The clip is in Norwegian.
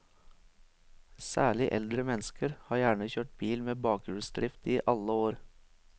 Særlig eldre mennesker har gjerne kjørt bil med bakhjulsdrift i alle år.